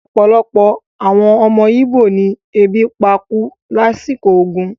Opolopo awon omo Igbo ni ebi pa ku lasiko ogun